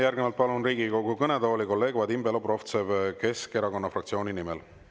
Järgnevalt palun Riigikogu kõnetooli kolleeg Vadim Belobrovtsevi Keskerakonna fraktsiooni nimel.